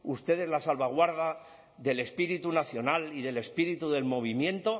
ustedes la salvaguarda del espíritu nacional y del espíritu del movimiento